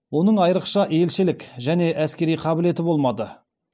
оның айырықша елшілік әне әскери қабілеті болмады